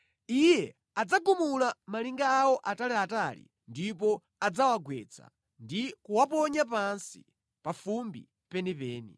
Iye adzagumula malinga awo ataliatali ndipo adzawagwetsa ndi kuwaponya pansi, pa fumbi penipeni.